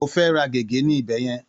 Ó fẹ́ ra gègé ní ibẹ̀ yẹn.